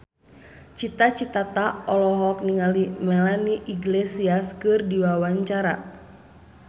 Cita Citata olohok ningali Melanie Iglesias keur diwawancara